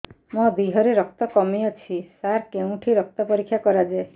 ମୋ ଦିହରେ ରକ୍ତ କମି ଅଛି ସାର କେଉଁଠି ରକ୍ତ ପରୀକ୍ଷା କରାଯାଏ